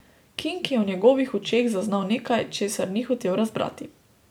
King je v njegovih očeh zaznal nekaj, česar ni hotel razbrati.